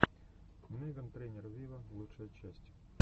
меган трейнер виво лучшая часть